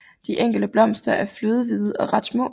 De enkelte blomster er flødehvide og ret små